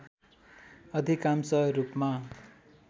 अधिकांश रूपमा